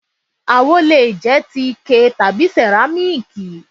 Àwo le jẹ́ ti Ike tàbí sẹ̀rámíkì.